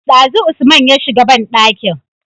Dazu usman ya shiga banɗakin